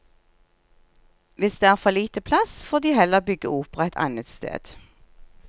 Hvis det er for lite plass, får de heller bygge opera et annet sted.